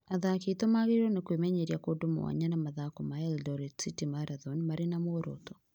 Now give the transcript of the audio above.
Athaki aitũ magĩrĩirwo nĩ kwĩmenyeria kũndũ mwanya na mathako ma Eldoret City Marathon marĩ na muoroto ,